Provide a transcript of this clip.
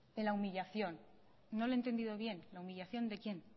en la humillación no le he entendido bien la humillación de quién